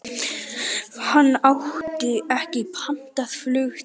Hann átti ekki pantað flug til